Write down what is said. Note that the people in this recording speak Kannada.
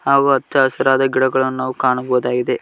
ಹಾಗು ಹಚ್ಚ ಹಸಿರಾದ ಗಿಡಗಳನ್ನು ನಾವು ಕಾಣಬಹುದಾಗಿದೆ.